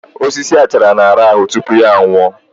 Osisi achara na-arahụ tupu ya nwụọ